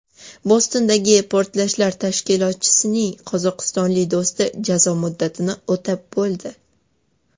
Bostondagi portlashlar tashkilotchisining qozog‘istonlik do‘sti jazo muddatini o‘tab bo‘ldi.